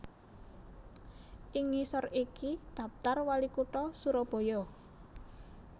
Ing ngisor iki daptar WaliKutha Surabaya